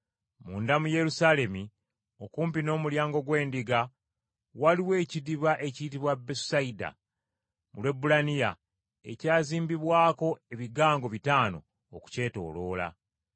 Munda mu Yerusaalemi, okumpi n’Omulyango gw’Endiga waliwo ekidiba ekiyitibwa Besusayida, mu Lwebbulaniya, ekyazimbibwako ebigango bitaano okukyetooloola.